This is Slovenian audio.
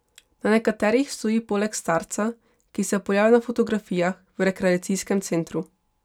Na nekaterih stoji poleg starca, ki se pojavlja na fotografijah v rekreacijskem centru.